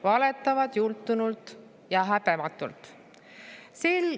Valetavad jultunult ja häbematult.